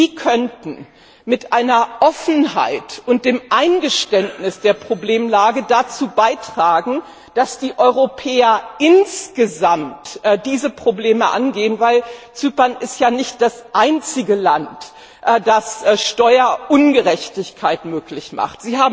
Sie könnten mit einer Offenheit und dem Eingeständnis der Problemlage dazu beitragen, dass die Europäer insgesamt diese Probleme angehen, denn Zypern ist ja nicht das einzige Land, das Steuerungerechtigkeit möglich macht.